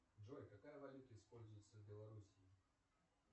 джой какая валюта используется в белоруссии